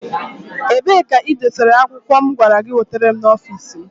Ebee ka i dosara akwụkwọ mụ gwara gị wetere m n'ọfici mụ?